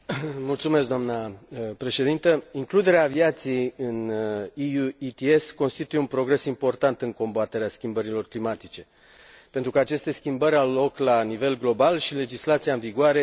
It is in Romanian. Includere aviației în EU ITS constituie un progres important în combaterea schimbărilor climatice, pentru că aceste schimbări au loc la nivel global și legislația în vigoare trebuie să acționeze la acest nivel.